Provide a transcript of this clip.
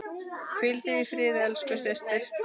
Hvíldu í friði elsku systir.